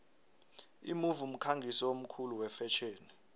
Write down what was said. imove mkhangisi omkhulu wefetjheni